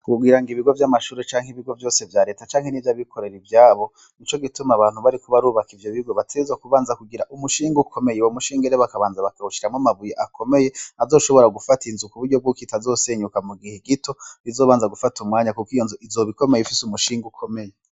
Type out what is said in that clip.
Kugirango ibigo vyamashure canke ibigo vyose vyareta, canke nivyabikorera ivyabo nico gituma abantu bariko barubaka ivyo bigo bategerezwa kubanza kugira umushinge ukomeye, uwo mushinge rero bakabanza bakawushiramwo amabuye akomeye azoshobora gufata inzu kuburyo bwuko itazosenyuka mugihe gito bizobanza gufata umwanya kuko iyo nzu izoba ikomeye ifise umushinge ukomeye.